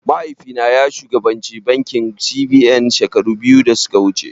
Mahaifi na ya shugabanci bankin C.B.N shekaru biyu da suka wuce